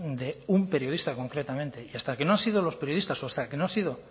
de un periodista concretamente y hasta que no han sido los periodistas o hasta que no he sido